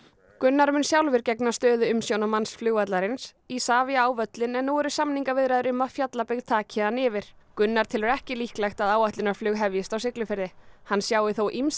Gunnar mun sjálfur gegna stöðu umsjónarmanns flugvallarins Isavia á völlinn en nú eru samningaviðræður um að Fjallabyggð taki hann yfir Gunnar telur ekki líklegt að áætlunarflug hefjist á Siglufirði hann sjái þó ýmsa